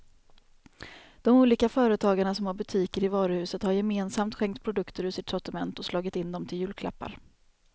De olika företagarna som har butiker i varuhuset har gemensamt skänkt produkter ur sitt sortiment och slagit in dem till julklappar.